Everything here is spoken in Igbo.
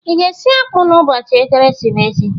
Ị ga-esi akpụ n'ụbọchị ekeresimesi?